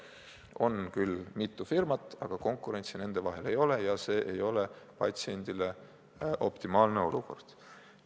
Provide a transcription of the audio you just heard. On küll mitu firmat, aga konkurentsi nende vahel ei ole ja see ei ole patsiendile optimaalne olukord.